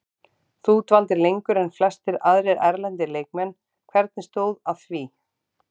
Þú dvaldir lengur en flestir aðrir erlendir leikmenn, hvernig stóð að því?